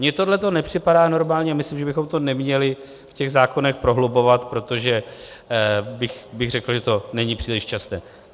Mně tohleto nepřipadá normální a myslím, že bychom to neměli v těch zákonech prohlubovat, protože bych řekl, že to není příliš časté.